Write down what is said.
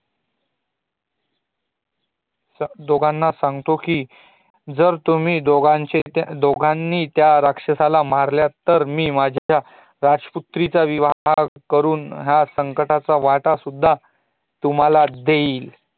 दोघांना सागतो कि, जर तुम्ही दोघांनी त्या राक्षसाला मारले तर मी माझ्या राज्पुत्रीचा विवाह करुन ह्या संपत्तीचा वाटा सुद्धा तुम्हाला देईल